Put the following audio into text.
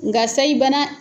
Nka sayi bana